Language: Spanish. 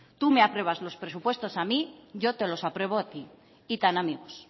tú me apruebas los presupuestos a mí yo te los apruebo a ti y tan amigos